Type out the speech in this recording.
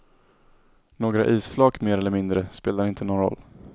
Några isflak mer eller mindre spelar inte någon roll.